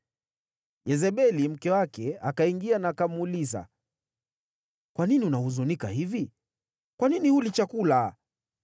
Yezebeli mke wake akaingia na akamuuliza, “Kwa nini unahuzunika hivi? Kwa nini huli chakula?”